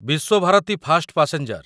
Visva Bharati fast passenger